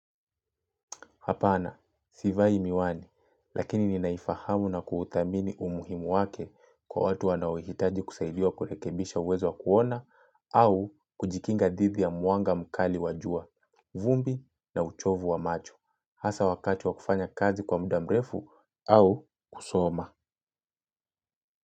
Hapana, sivai miwani, lakini ninaifahamu na kuudhamini umuhimu wake kwa watu wanaohitaji kusaidiwa kurekebisha uwezo wa kuona au kujikinga didhi ya mwanga mkali wa jua, vumbi na uchovu wa macho, hasa wakati wa kufanya kazi kwa muda mrefu au kusoma.